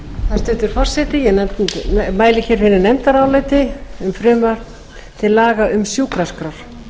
hæstvirtur forseti ég mæli fyrir nefndaráliti um frumvarp til laga um sjúkraskrár